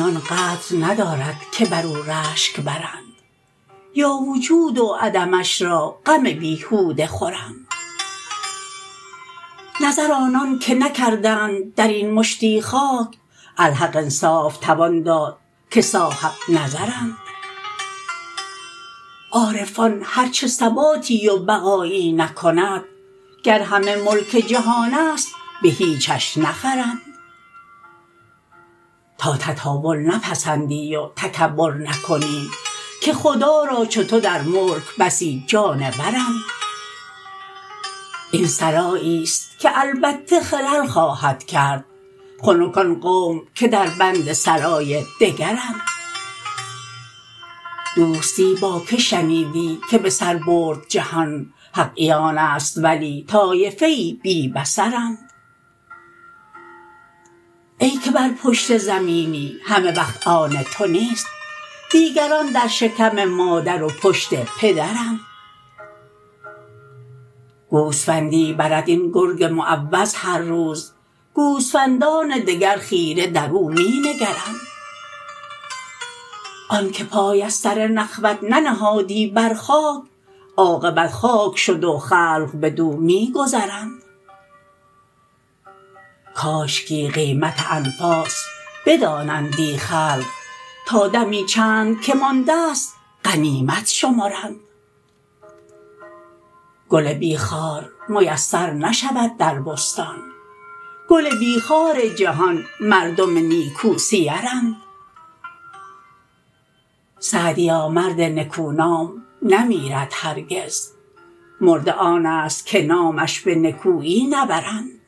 آن قدر ندارد که بر او رشک برند یا وجود و عدمش را غم بیهوده خورند نظر آنان که نکردند در این مشتی خاک الحق انصاف توان داد که صاحبنظرند عارفان هر چه ثباتی و بقایی نکند گر همه ملک جهان است به هیچش نخرند تا تطاول نپسندی و تکبر نکنی که خدا را چو تو در ملک بسی جانورند این سراییست که البته خلل خواهد کرد خنک آن قوم که در بند سرای دگرند دوستی با که شنیدی که به سر برد جهان حق عیان است ولی طایفه ای بی بصرند ای که بر پشت زمینی همه وقت آن تو نیست دیگران در شکم مادر و پشت پدرند گوسفندی برد این گرگ معود هر روز گوسفندان دگر خیره در او می نگرند آن که پای از سر نخوت ننهادی بر خاک عاقبت خاک شد و خلق بدو می گذرند کاشکی قیمت انفاس بدانندی خلق تا دمی چند که مانده ست غنیمت شمرند گل بی خار میسر نشود در بستان گل بی خار جهان مردم نیکوسیرند سعدیا مرد نکو نام نمیرد هرگز مرده آن است که نامش به نکویی نبرند